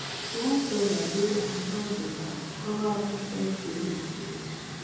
one feather dey on top the barn cover after thanksgiving finish